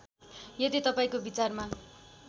यदि तपाईँको विचारमा